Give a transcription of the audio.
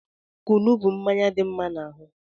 Kunu bụ mmanya dị mma n'ahụ